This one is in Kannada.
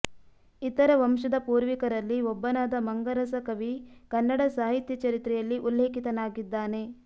ಇತರ ವಂಶದ ಪೂರ್ವಿಕರಲ್ಲಿ ಒಬ್ಬನಾದ ಮಂಗರಸ ಕವಿ ಕನ್ನಡ ಸಾಹಿತ್ಯ ಚರಿತ್ರೆಯಲ್ಲಿ ಉಲ್ಲೇಖಿತನಾಗಿದ್ದಾನೆ